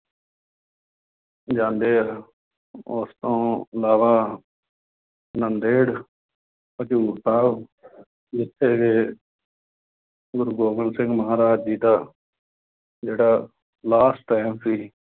ਜਾਂਦੇ ਆ, ਉਸ ਤੋਂ ਇਲਾਵਾ ਨਾਂਦੇੜ, ਹਜ਼ੂਰ ਸਾਹਿਬ, ਜਿੱਥੇ ਕਿ ਗੁਰੂ ਗੋਬਿੰਦ ਸਿੰਘ ਮਹਾਰਾਜ ਜੀ ਦਾ ਜਿਹੜਾ last time ਸੀ